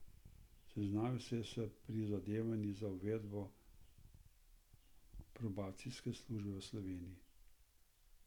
Seznanil se je s prizadevanji za uvedbo probacijske službe v Sloveniji.